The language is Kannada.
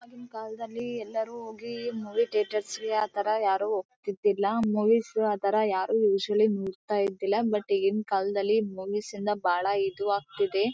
ಆಗಿನ ಕಾಲದಲ್ಲಿ ಎಲ್ಲರು ಹೋಗಿ ಮೂವಿ ಥಿಯೇಟರ್ ಅಲ್ಲಿಆತರ ಯಾರು ಹೋಗ್ತಿದಿಲ್ಲ. ಮೂವೀಸ್ ಆತರ ನೋಡ್ತಾ ಇದ್ದಿಲ್ಲ. ಬಟ್ ಈಗಿನ ಕಾಲದಲ್ಲಿ ಮೂವೀಸ್ ಅಂದ್ರೆ ಬಹಳ ಇದು ಆಗ್ತಿದೆ.